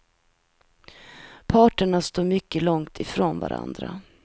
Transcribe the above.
Parterna står mycket långt från varandra.